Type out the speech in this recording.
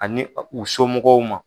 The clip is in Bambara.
Ani u somɔgɔw ma.